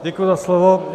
Děkuji za slovo.